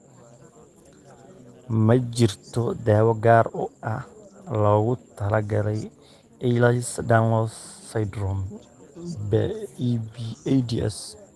Ma jirto daawo gaar ah oo loogu talagalay Ehlers Danlos syndrome (EDS).